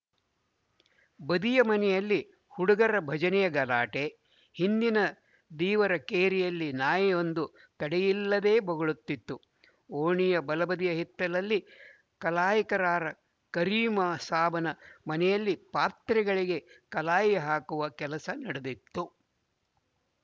ಬದಿಯ ಮನೆಯಲ್ಲಿ ಹುಡುಗರ ಭಜನೆಯ ಗಲಾಟೆ ಹಿಂದಿನ ದೀವರ ಕೇರಿಯಲ್ಲಿ ನಾಯಿಯೊಂದು ತಡೆಯಿಲ್ಲದೇ ಬೊಗಳುತ್ತಿತ್ತು ಓಣಿಯ ಬಲಬದಿಯ ಹಿತ್ತಲಲ್ಲಿ ಕಲಾಯಿಕಾರ ಕರೀಮಸಾಬನ ಮನೆಯಲ್ಲಿ ಪಾತ್ರೆಗಳಿಗೆ ಕಲಾಯಿ ಹಾಕುವ ಕೆಲಸ ನಡೆದಿತ್ತು